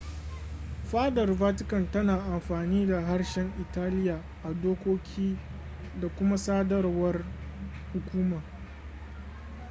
fadar vatican tana amfani da harshen italiya a dokoki da kuma sadarwar hukuma